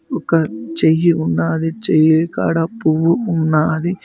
ఒక చెయ్యి ఉన్నాది చెయ్యి కాడ పువ్వు ఉన్నాది.